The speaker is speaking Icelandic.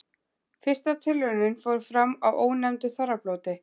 Fyrsta tilraunin fór fram á ónefndu þorrablóti.